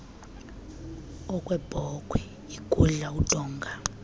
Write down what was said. okwebhokhwe igudla udonga